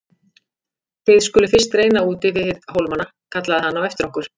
Þið skuluð fyrst reyna úti við hólmana kallaði hann á eftir okkur.